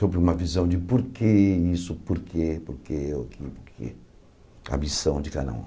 Sobre uma visão de porquê isso, porquê, porquê, porquê, a missão de cada um.